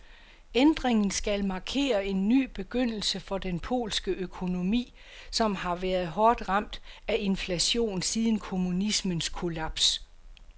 Ændringen skal markere en ny begyndelse for den polske økonomi, som har været hårdt ramt af inflation siden kommunismens kollaps.